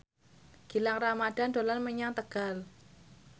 Gilang Ramadan dolan menyang Tegal